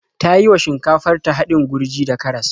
Ta yi wa shinkafar ta haɗin gurji da karas.